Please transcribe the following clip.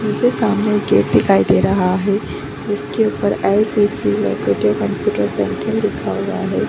मुझे सामने एक गेट दिखाई दे रहा है जिसका ऊपर LCC Lakhotia computer centre section लिखा हुआ है।